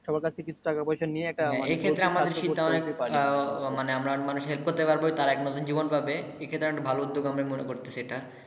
সবার কাছ থেকে কিছু টাকা পয়সা নিয়ে একটা এই ক্ষেত্রে আমাদের আহ মানে আমরা মানুষকে help করতে পারবো। তারা এক নতুন জীবন পাবে। এই ক্ষেত্রে ভালো উদ্যোগ আমরা মনে করতেছি এটা ।